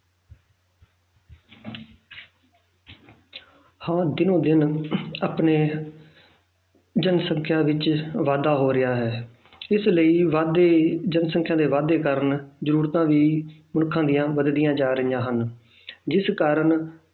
ਹਾਂ ਦਿਨੋਂ ਦਿਨ ਆਪਣੇ ਜਨਸੰਖਿਆ ਵਿੱਚ ਵਾਧਾ ਹੋ ਰਿਹਾ ਹੈ ਇਸ ਲਈ ਵੱਧਦੀ ਜਨਸੰਖਿਆ ਦੇ ਵਾਧੇ ਕਾਰਨ ਜ਼ਰੂਰਤਾਂ ਵੀ ਲੋਕਾਂ ਦੀਆਂ ਵੱਧਦੀਆਂ ਜਾ ਰਹੀਆਂ ਹਨ ਜਿਸ ਕਾਰਨ